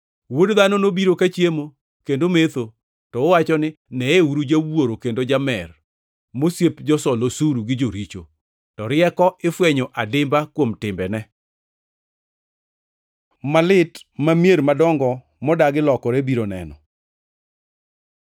Wuod Dhano nobiro ka chiemo kendo metho, to uwacho ni, ‘Neyeuru jawuoro kendo jamer mosiep josol osuru gi joricho.’ To rieko ifwenyo adimba kuom timbene.” Malit ma mier madongo modagi lokore biro neno